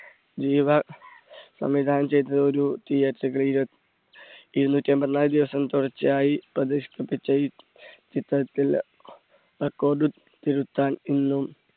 ജീവ സംവിധാനം ചെയ്ത ഇരുന്നൂറ്റി അമ്പത്തിനാല് ദിവസം തുടർച്ചയായി പ്രദർശിപ്പിച്ച ഈ ചിത്രത്തിൽ record തിരുത്താൻ ഇന്നും